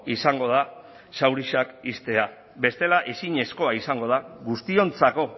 izango da zauriak ixtea bestela ezinezkoa izango da guztiontzako